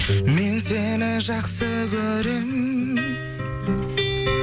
мен сені жақсы көрем